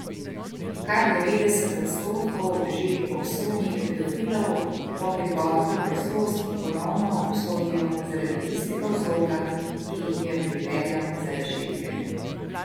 Kar devetdeset odstotkov že obsojenih pedofilov po prihodu na prostost ponovno obsodijo zaradi istega vzroka, ki jih je pripeljal za rešetke.